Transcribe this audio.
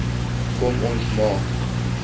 kom ons maak